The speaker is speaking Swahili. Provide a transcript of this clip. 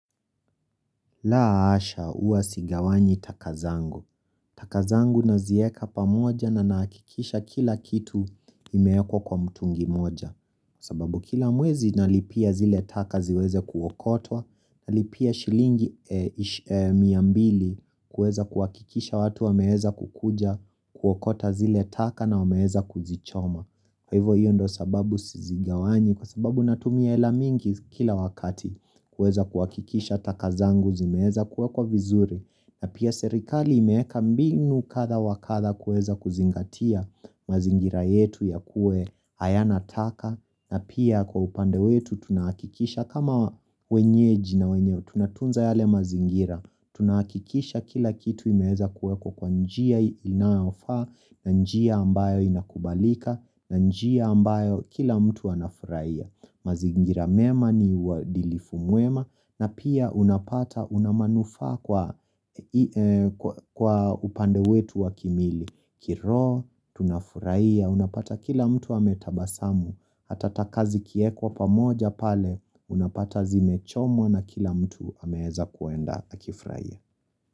Laa asha uwa sigawanyi taka zangu. Taka zangu nazieka pamoja na nakikisha kila kitu imeekwa kwa mtungi moja. Sababu kila mwezi nalipia zile taka ziweze kuokotwa, nalipia shilingi mia mbili kuweza kuwakikisha watu wameheza kukuja kuwokota zile taka na wameheza kuzichoma. Kwa hivo hiyo ndo sababu sizigawani kwa sababu natumia hela mingi kila wakati kueza kuakikisha takazangu zimeeza kuwe kwa vizuri na pia serikali imeeka mbinu katha wakatha kueza kuzingatia mazingira yetu ya kue haya nataka na pia kwa upande wetu tunakikisha kama wenyeji na wenyeo tunatunza yale mazingira Tunakikisha kila kitu imeza kueko kwa njia inafaa na njia ambayo inakubalika na njia ambayo kila mtu anafuraia Mazingiramema ni wadilifu muema na pia unapata unamanufa kwa upande wetu wakimili Kiro, tunafuraia, unapata kila mtu ametabasamu Hatata kazi kieko pamoja pale Unapata zime chomwa na kila mtu hameheza kuenda akifraie.